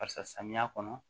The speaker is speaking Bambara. Barisa samiya kɔnɔ